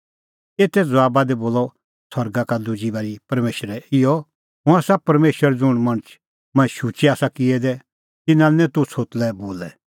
एते ज़बाबा दी बोलअ सरगा का दुजी बारी परमेशरै इहअ हुंह आसा परमेशर ज़ुंण मणछ मंऐं शुचै आसा किऐ दै तिन्नां लै निं तूह छ़ोतलै बोलै